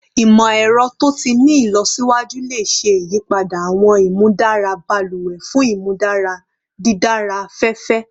Imọ-ẹrọ to ti ni ilọsiwaju le ṣe iyipada awọn imudara baluwe fun imudara didara afẹfẹ